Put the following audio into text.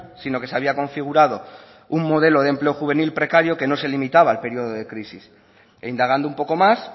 sino que se había configurado un modelo de empleo juvenil precario que no se limitaba al periodo de crisis e indagando un poco más